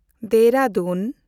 Dehradun